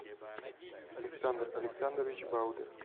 александр александрович баудер